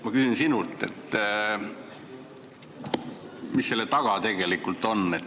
" Ma küsin sinult, mis selle taga tegelikult on.